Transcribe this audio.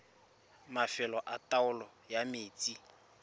mafelo a taolo ya metsi